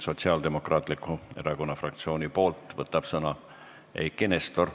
Sotsiaaldemokraatliku Erakonna fraktsiooni nimel võtab sõna Eiki Nestor.